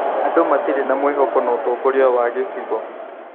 Andũ matirĩ na mwĩhoko na ũtongoria wa gĩcigo